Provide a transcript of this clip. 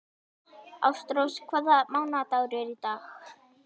Ástrós, hvaða mánaðardagur er í dag?